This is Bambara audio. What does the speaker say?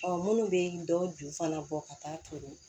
minnu bɛ dɔw ju fana bɔ ka taa to